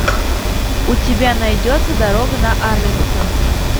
у тебя найдется дорога на арлингтон